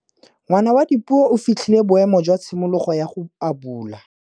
Ngwana wa Dipuo o fitlhile boêmô jwa tshimologô ya go abula.